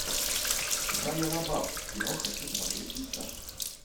шайа лабаф кино хочу смотреть сейчас